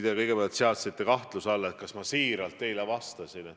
Te kõigepealt seadsite kahtluse alla, kas ma vastasin teile siiralt.